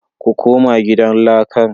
Ku koma gidan lakar